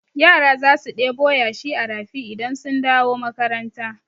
Yara za su ɗebo yashi a rafi idan sun dawo makaranta.